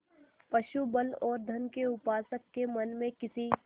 पशुबल और धन के उपासक के मन में किसी